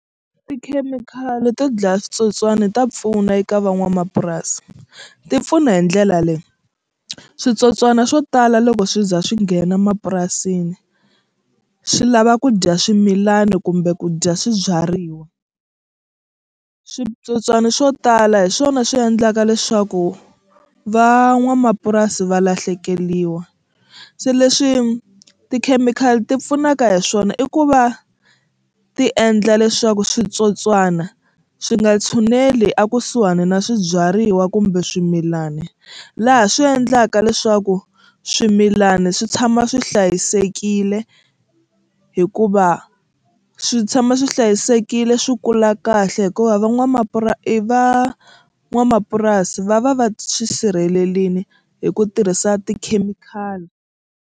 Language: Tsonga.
Tikhemikhali to dlaya switsotswana ta pfuna eka van'wamapurasi ti pfuna hi ndlela leyi switsotswana swo tala loko swi za swi nghena mapurasini swi lava ku dya swimilana kumbe ku dya swibyariwa. Switsotswana swo tala hi swona swi endlaka leswaku van'wamapurasi va lahlekeriwa se leswi tikhemikhali ti pfunaka hi swona i ku va ti endla leswaku switsotswana swi nga tshuneli ekusuhani na swibyariwa kumbe swimilani laha swi endlaka leswaku swimilana swi tshama swi hlayisekile hikuva swi tshama swi hlayisekile swi kula kahle hikuva i van'wamapurasi va va va swi sirhelerile hi ku tirhisa tikhemikhali.